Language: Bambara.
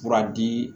Fura di